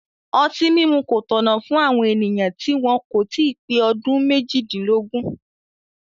Ọtí mímu kò tọ̀nà fún àwọn ènìyàn tí wọn kò tí ì pé ọdún méjìdínlógún